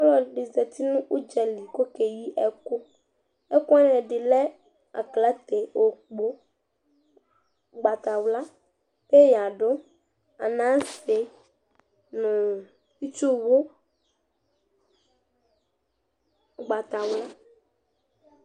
Ɔlɔɖɩ zati nu uɖzalɩ koke yi ɛku Ɛku wanɩ ɛɖɩ lɛ aklate okpo ugbatawla, peya ɖu, anase nu itsuwʊ ugbatawla